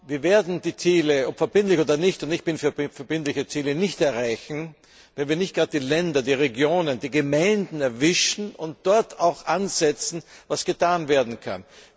Wir werden die Ziele, ob verbindlich oder nicht und ich bin für verbindliche Ziele nicht erreichen, wenn wir nicht gerade die Länder, die Regionen, die Gemeinden ansprechen und bei dem ansetzen, was getan werden kann.